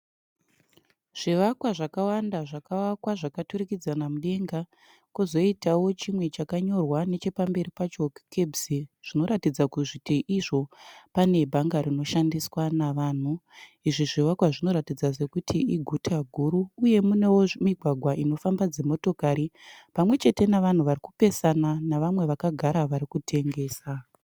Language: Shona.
Zvivakwa zvakawanda zvakavakwa zvakaturikidzana mudenga. Kozoitawo chimwe chakanyorwa nechepamberi pacho kuti CABS zvinoratidza kuti izvo pane bhanga rinoshandiswa navanhu. Izvi zvivakwa zvinoratidza sekuti iguta guru uyewo mune mugwagwa unofamba dzimotokari pamwe chete nevahu vari kupesana navamwe vakagara vari kutengesa.